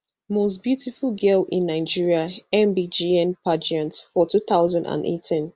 most beautiful girl in nigeria mbgn pageant for two thousand and eighteen